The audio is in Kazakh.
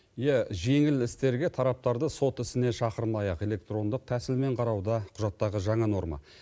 иә жеңіл істерге тараптарды сот ісіне шақырмай ақ электрондық тәсілмен қарау да құжаттағы жаңа норма